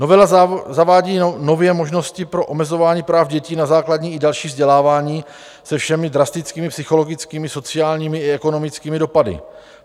Novela zavádí nově možnosti pro omezování práv dětí na základní i další vzdělávání se všemi drastickými psychologickými, sociálními i ekonomickými dopady.